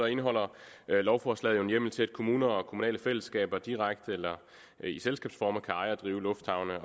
indeholder lovforslaget jo en hjemmel til at kommuner og kommunale fællesskaber direkte eller i selskabsform kan eje og drive lufthavne